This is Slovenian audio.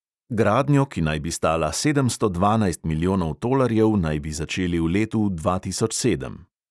Gradnjo, ki naj bi stala sedemsto dvanajst milijonov tolarjev, naj bi začeli v letu dva tisoč sedem.